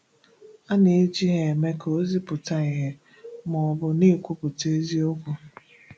A na-eji ha eme ka ozi pụta ìhè ma ọ bụ na-ekwùpụ̀tà ezíokwú.